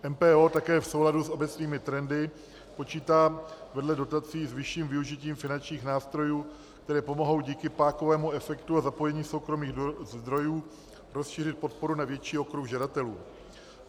MPO také v souladu s obecnými trendy počítá vedle dotací s vyšším využitím finančních nástrojů, které pomohou díky pákovému efektu a zapojení soukromých zdrojů rozšířit podporu na větší okruh žadatelů.